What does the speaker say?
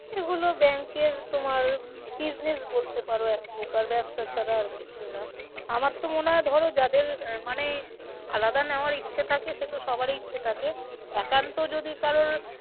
এগুলো bank এর তোমার business বলতে পারো এক প্রকার ব্যবসা ছাড়া আর কিছুই নয়। আমার তো মনে হয় ধরো যাদের আহ মানে আলাদা নেওয়ায় ইচ্ছা থাকে সে তো সবারই ইচ্ছে থাকে। একান্ত যদি কারোর